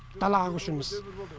далаға көшеміз